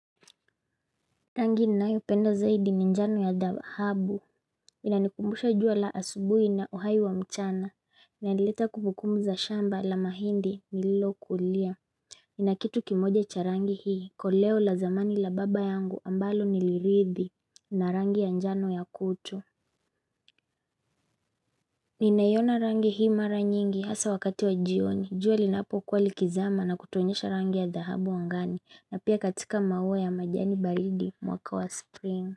Rangi ninayo penda zaidi ni njano ya dahabu inanikumbusha jua la asubuhi na uhai wa mchana inaleta kumbukumbu za shamba la mahindi lilokulia ninakitu kimoja cha rangi hii koleo la zamani la baba yangu ambalo niliridhi na rangi ya njano ya kutu ninaiyona rangi hii mara nyingi hasa wakati wa jioni jua linapo kuwa likizama na kutuonyesha rangi ya dahabu angani na pia katika maua ya majani baridi mwaka wa spring.